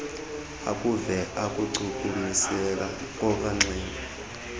akuve ukuchukumiseka kornxhelo